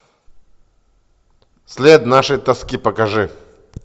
след нашей тоски покажи